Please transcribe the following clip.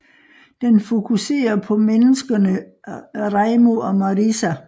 Den fokusere på menneskerne Reimu og Marisa